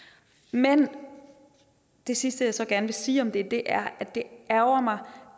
men det sidste jeg så gerne vil sige om det er at det ærgrer mig